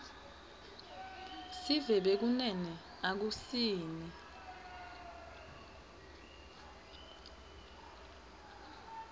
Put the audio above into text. sive bekunene akusini